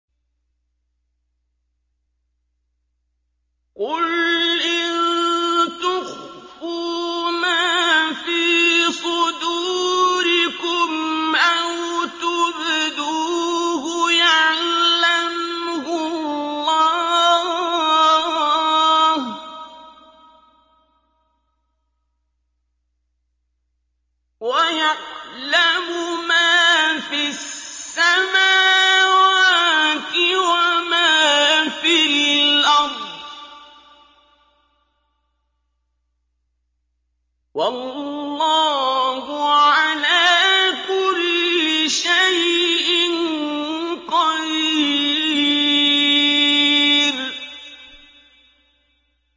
قُلْ إِن تُخْفُوا مَا فِي صُدُورِكُمْ أَوْ تُبْدُوهُ يَعْلَمْهُ اللَّهُ ۗ وَيَعْلَمُ مَا فِي السَّمَاوَاتِ وَمَا فِي الْأَرْضِ ۗ وَاللَّهُ عَلَىٰ كُلِّ شَيْءٍ قَدِيرٌ